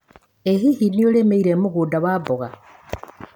ĩ hihi nĩũrĩmĩire mũgunda wa mboga?